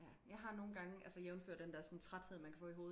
Ja jeg har nogen gange altså jævnfør den der træthed man kan få i hovedet